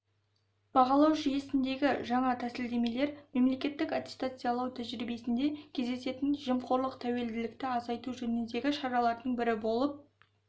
бағалау жүйесіндегі жаңа тәсілдемелер мемлекеттік аттестациялау тәжірибесінде кездесетін жемқорлық тәуекелдікті азайту жөніндегі шаралардың бірі болып